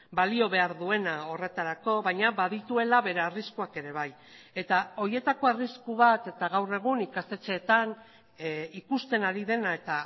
balio behar duena horretarako baina badituela bere arriskuak ere bai eta horietako arrisku bat eta gaur egun ikastetxeetan ikusten ari dena eta